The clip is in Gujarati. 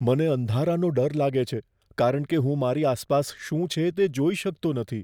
મને અંધારાનો ડર લાગે છે કારણ કે હું મારી આસપાસ શું છે તે જોઈ શકતો નથી.